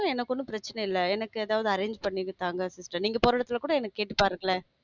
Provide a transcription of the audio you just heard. உம் எனக்கு ஒண்ணும் பிரச்சனை இல்லை. எனக்கு எதாவது arrange பண்ணித்தாங்க sister நீங்க போற இடத்துல கூட என்ன கேட்டுப்பாருங்கல.